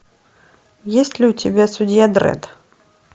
есть ли у тебя судья дредд